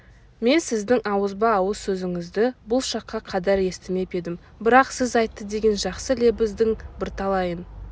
мен сіздің ауызба-ауыз сөзіңізді бұл шаққа қадар естімеп едім бірақ сіз айтты деген жақсы лебіздің бірталайын